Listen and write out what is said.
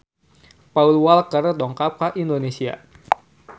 Paul Walker dongkap ka Indonesia